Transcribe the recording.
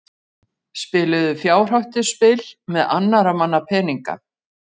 Spiluðu fjárhættuspil með annarra manna peninga